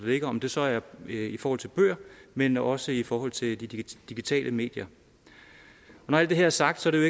ligger om det så er i forhold til bøger men også i forhold til de digitale medier når alt det her er sagt er det